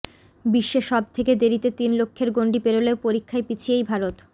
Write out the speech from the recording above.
বিশ্বে সব থেকে দেরিতে তিন লক্ষের গন্ডি পেরলেও পরীক্ষায় পিছিয়েই ভারত